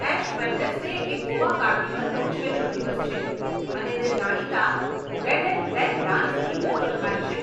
Ash Wednesday એ ગોવા કાર્નિવલનો છેલ્લો દિવસ છે અને તે જાણીતા રેડ એન્ડ બ્લેક ડાન્સથી પૂરો થાય છે.